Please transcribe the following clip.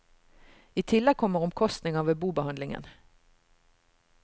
I tillegg kommer omkostninger ved bobehandlingen.